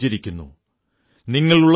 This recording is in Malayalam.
മൈം ചൈൻ സേ സോതാ ഹൂം ക്യോംകി